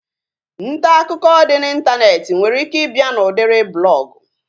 Ntaakụkọ dị n'Ịntanetị nwere ike ị bịa n'udiri blọgụ